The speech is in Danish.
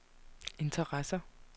interesser